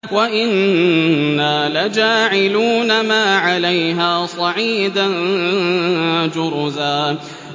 وَإِنَّا لَجَاعِلُونَ مَا عَلَيْهَا صَعِيدًا جُرُزًا